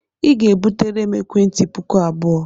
Ị ga-ebutere m ekwentị puku abụọ!